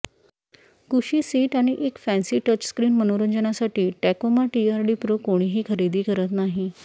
कुशी सीट आणि एक फॅन्सी टचस्क्रीन मनोरंजनासाठी टॅकोमा टीआरडी प्रो कोणीही खरेदी करत नाही